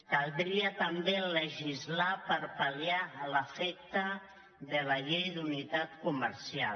caldria també legislar per pal·liar l’efecte de la llei d’unitat comercial